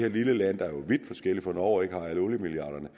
et lille land der jo er vidt forskelligt fra norge og ikke har alle oliemilliarderne